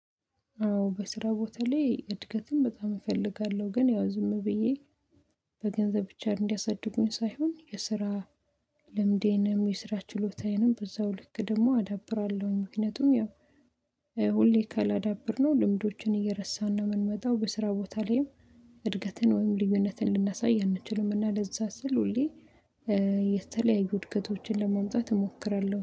አዎ በስራ ቦታ ላይ እድገትን በጣም እፈልጋለሁ ግን ያው ዝም ብዬ በገንዘብ ብቻ እንዲያሳድጉኝ ሳይሆን የስራ ልምዴንም የስራ ችሎታዬንም በዛው ልክ ደግሞ አዳብራለሁኝ። ምክንያቱም ያው ሁሌ ካላዳበርነው ልምዶችን እየረሳን ነው የምንመጣው። በስራ ቦታ ላይም እድገትን ወይም ልዩነትን ልናሳይ አንችልም። እና ለዛ ስል ሁሌ የተለያዩ እድገቶችን ለማምጣት እሞክራለሁ